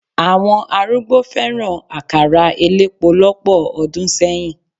Àwọn arúgbó fẹ́ràn àkàrà elépo lọ́pọ̀ ọdún sẹ́yìn.